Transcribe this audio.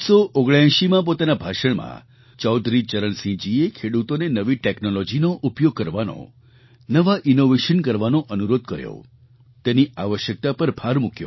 1979માં પોતાના ભાષણમાં ચૌધરી ચરણસિંહજીએ ખેડૂતોને નવી ટૅક્નૉલૉજીનો ઉપયોગ કરવાનો નવાં ઇનૉવેશન કરવાનો અનુરોધ કર્યો તેની આવશ્યકતા પર ભાર મૂક્યો